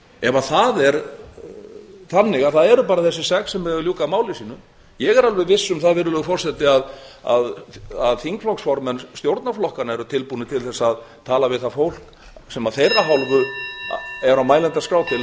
ef það er þannig að það eru bara þessir sex sem eiga að ljúka máli sínu ég er alveg viss um það virðulegur forseti að þingflokksformenn stjórnarflokkanna eru tilbúnir til þess að tala við það fólk sem af þeirra hálfu eru á mælendaskrá til að